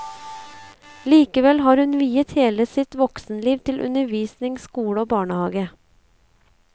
Likevel har hun viet hele sitt voksenliv til undervisning, skole og barnehage.